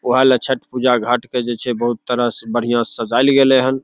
वोह ला छठ पूजा घाट के जे छे बहुत तरह से बढ़िया सजाइल गेले हन।